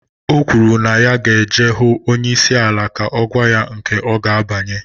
Okwuru na ya ga eje huu onye isi ala ka ogwa ya nke oga abanye.